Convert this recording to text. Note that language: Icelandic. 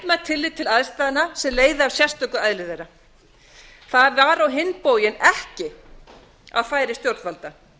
mætt tillit til aðstæðna sem leiða af sérstöku eðli þeirra það var á hinn bóginn ekki á færi stjórnvalda